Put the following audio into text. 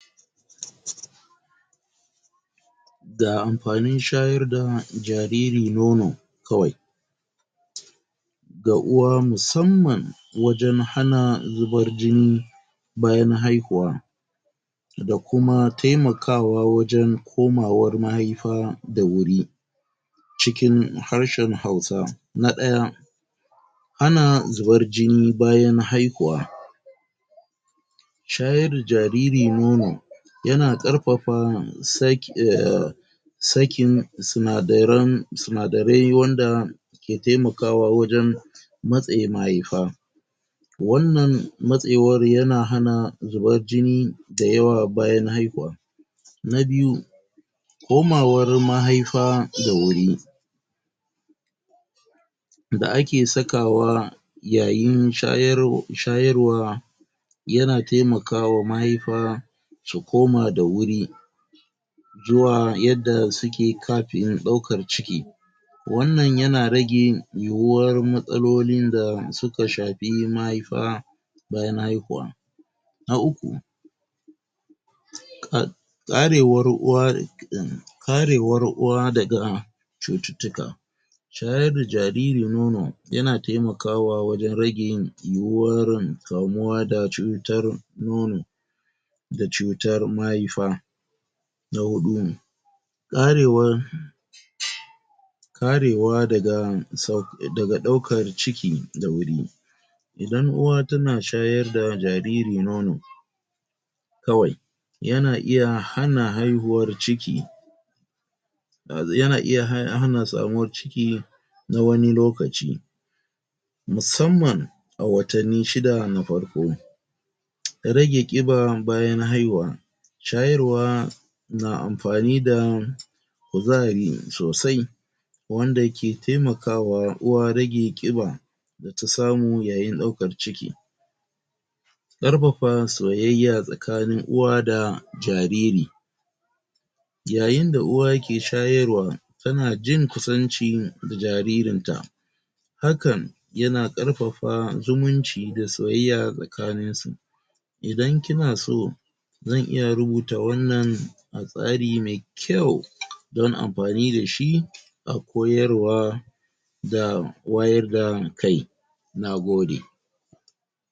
? Ga amfanin shayar da jariri nono,? kawai,? ga uwa musamman, wajan hana zubar jini,? bayan haihuwa,? da kuma taimakawa wajan, komawar mahaifa da wuri,? cikin harshan hausa. Na ɗaya.? Hana zubar jini bayan haihuwa.? Shayar da jariri nono,? ya na ƙarfafa,?? sakin sinadaran sinadarai wanda,? ke taimakawa wajan,? matse mahaifa.? Wannan matsewar ya na hana zubar jini, da yawa bayan haihuwa. Na biyu. Komawar mahaifa da wuri.? Da ake sakawa,? yayin shayar shayarwa,? ya na taimakawa mahaifa, ta koma da wuri,? zuwa yadda su ke kafin ɗaukar ciki.? Wannan ya na rage, yuwuwar matsalolin da suka shafi mahaifa,? bayan haihuwa. Na uku.? Ƙarewar uwa,? karewar uwa daga,? cututtuka.? Shayar da jariri nono, ya na taimakawa wajan rage yin? kamuwa da cutan nono,? da cutar mahaifa.? Na huɗu. Ƙarewar,? karewa daga, daga ɗaukar ciki da wuri.? Idan uwa ta na shayar da jariri nono, kawai,? ya na iya hana haihuwar ciki,? ya na iya hana samuwar ciki, na wani lokaci,? musamman,? a watanni shida na farko.? Rage ƙiba bayan haihuwa.? Shayarwa,? na amfani da, kuzari sosai,? wanda ke taimakawa uwa rage ƙiba,? da ta samu yayin ɗaukar ciki.? Ƙarfafa soyayya tsakanin uwa da jariri. Yayin da uwa ke shayarwa, ta na jin kusancin jaririnta.? Hakan,? ya na ƙarfafa zumunci da soyayya tsakaninsu.? Idan ki na so, zan iya rubuta wannan, a tsari mai kyau,? don amfani da shi,? a koyarwa,? da wayar da kai. Na gode.?